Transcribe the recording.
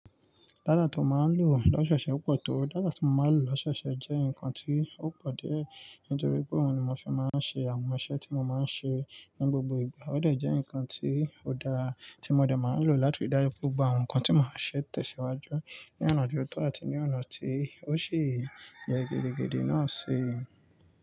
Data tí ó máa ń lò lọ́ṣẹ ṣe opọ̀ tó. Data tí mo máa ń lò lọ́ṣẹ ṣe jẹ́ nǹkan tí ó pọ̀ díẹ̀ nítorí pé òun ni mo fi máa ń ṣe àwọn iṣẹ́ tí mo máa ń ṣe ní gbogbo ìgbà. Ó de jẹ́ nǹkan tí ó dára tí mo de máa ń lò láti dárí gbogbo àwọn nǹkan tí mo máa ń ṣe tẹ̀síwájú ní ọ̀nà tó tọ́ àti ní ọ̀nà tí ó ṣi yẹ́ gidigidi náà ṣi.